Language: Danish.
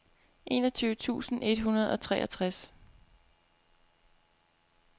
enogtyve tusind et hundrede og treogtres